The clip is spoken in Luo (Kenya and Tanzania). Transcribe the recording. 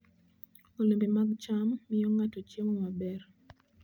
Olembe mag cham miyo ng'ato chiemo maber.